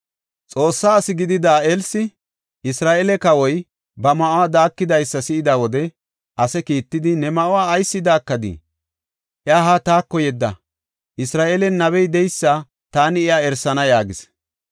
Xoossa asi gidida Elsi Isra7eele kawoy ba ma7uwa daakidaysa si7ida wode ase kiittidi, “Ne ma7uwa ayis daakadii? Iya haa taako yedda; Isra7eelen nabey de7eysa taani iya erisana” yaagis.